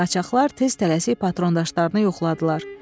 Qaçaqlar tez tələsik patrondaşlarını yoxladılar.